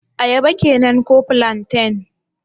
Ayaba kenan ko plantain?